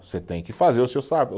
Você tem que fazer o seu